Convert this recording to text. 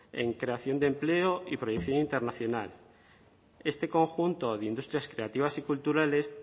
en creación de empleo y proyección internacional este conjunto de industrias creativas y culturales